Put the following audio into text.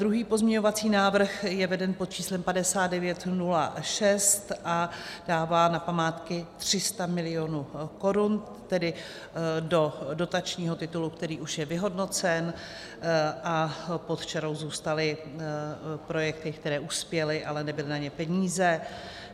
Druhý pozměňovací návrh je veden pod číslem 5906 a dává na památky 300 mil. korun, tedy do dotačního titulu, který už je vyhodnocen, a pod čarou zůstaly projekty, které uspěly, ale nebyly na ně peníze.